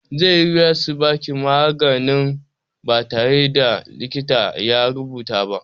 Zai yi wuya su baki maganin ba tare da likita ya rubuta ba.